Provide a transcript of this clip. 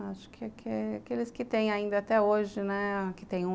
Acho que aqueles que tem ainda até hoje, né, que tem